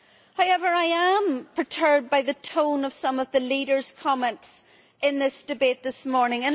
However, I am perturbed by the tone of some of the leaders' comments in this debate this morning.